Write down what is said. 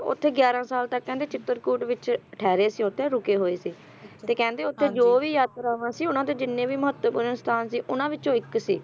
ਸੀਤਾ ਦੇਵੀ ਸੀ ਜਿਹੜੇ ਉੱਥੇ ਗਿਆਰਾ ਸਾਲ ਤੱਕ ਕਹਿੰਦੇ ਚਿਤਰਕੂਟ ਵਿੱਚ ਠਹਿਰੇ ਸੀ ਉੱਥੇ ਰੁਕੇ ਹੋਏ ਸੀ, ਤੇ ਕਹਿੰਦੇ ਉੱਥੇ ਜੋ ਵੀ ਯਾਤਰਾਵਾਂ ਸੀ ਉਹਨਾਂ ਦੇ ਜਿੰਨੇ ਵੀ ਮਹੱਤਵਪੂਰਨ ਸਥਾਨ ਸੀ ਉਹਨਾਂ ਵਿੱਚੋਂ ਇੱਕ ਸੀ,